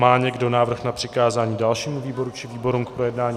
Má někdo návrh na přikázání dalšímu výboru či výborům k projednání?